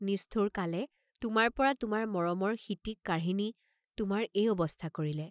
নিষ্ঠুৰ কালে তোমাৰ পৰা তোমাৰ মৰমৰ সিটিক কাঢ়ি নি তোমাৰ এই অৱস্থা কৰিলে!